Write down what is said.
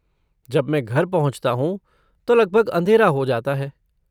जब मैं घर पहुँचता हूँ तो लगभग अंधेरा हो जाता है।